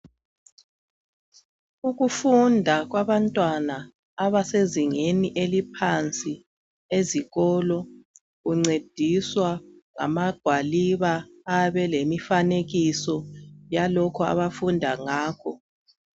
Ukufunda kwabantwana abasezingeni eliphansi ezikolo, kuncediswa ngamagwaliba ayabe elemifanekiso, yalokho abafunda ngakho.